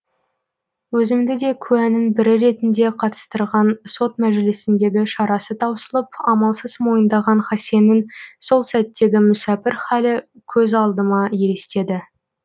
өзімді де куәнің бірі ретінде қатыстырған сот мәжілісіндегі шарасы таусылып амалсыз мойындаған хасеннің сол сәттегі мүсәпір халі көз алдыма елестеді